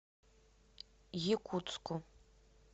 якутску